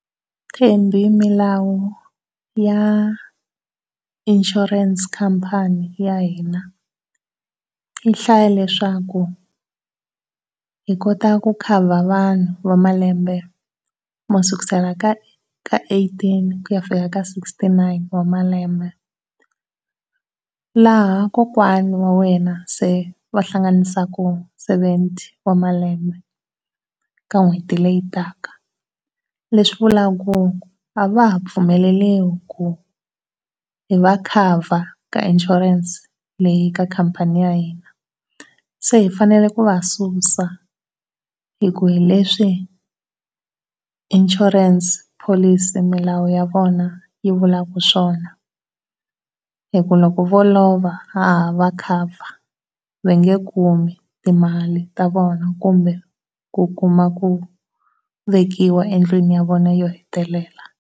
Thembi milawu ya insurance company ya hina yi hlaya leswaku hi kota ku cover vanhu va malembe mo sukusela ka eighteen ku ya fika sixty-nine wa malembe. Laha kokwana wa wena se va hlanganisaka seventy wa malembe ka n'hweti leyi taka. Leswi vulaka ku a va ha pfumeleriwi ku hi va cover ka insurance leyi ka khampani ya hina. Se hi fanele ku va susa hi ku hi leswi insurance policy milawu ya vona yi vulaka swona. Hi ku loko vo lova ha ha va cover mi nge kumi timali ta vona kumbe ku kuma ku vekiwa endlini ya vona yo hetelela.